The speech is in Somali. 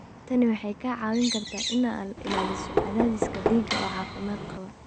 Tani waxay kaa caawin kartaa inaad ilaaliso cadaadiska dhiigga oo caafimaad qaba.